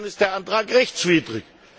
Insofern ist der Antrag rechtswidrig.